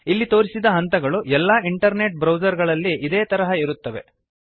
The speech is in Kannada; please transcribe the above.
ಇಲ್ಲಿ ತೋರಿಸಿದ ಹಂತಗಳು ಎಲ್ಲ ಇಂಟರ್ನೆಟ್ ಬ್ರೌಜರ್ ಗಳಲ್ಲಿ ಇದೇ ತರಹ ಇರುತ್ತವೆ